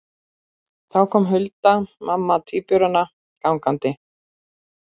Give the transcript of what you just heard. Þá kom Hulda mamma tvíburanna gangandi.